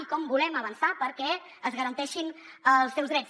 i com volem avançar perquè es garanteixin els seus drets